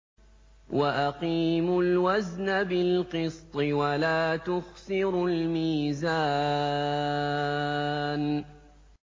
وَأَقِيمُوا الْوَزْنَ بِالْقِسْطِ وَلَا تُخْسِرُوا الْمِيزَانَ